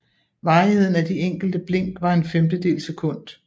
Varigheden af de enkelte blink var en femtedel sekund